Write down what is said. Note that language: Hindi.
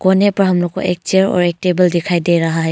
कोने पर हम लोग को एक चेयर और एक टेबल दिखाई दे रहा है।